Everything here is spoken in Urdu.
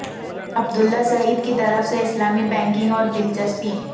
عبداللہ سعید کی طرف سے اسلامی بینکنگ اور دلچسپی